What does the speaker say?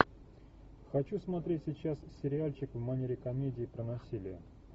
хочу смотреть сейчас сериальчик в манере комедии про насилие